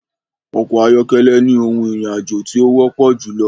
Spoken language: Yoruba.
Ọkọ̀ ayọ́kẹ́lẹ́ ni ohun ìrìn àjò tí ó wọ́pọ̀ júlọ.